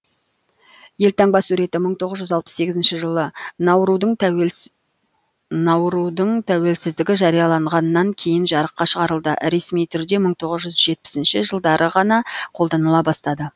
елтаңба суреті мың тоғыз жүз алпыс сегізінші жылы наурудың тәуелсіздігі жарияланғаннан кейін жарыққа шығарылды ресми түрде мың тоғыз жүз жетпісінші жылдары ғана қолданыла бастады